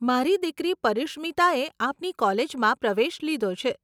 મારી દીકરી પરીશ્મીતાએ આપની કોલેજમાં પ્રવેશ લીધો છે.